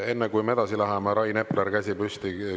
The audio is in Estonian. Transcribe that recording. Enne, kui me edasi läheme, Rain Epleril on käsi püsti.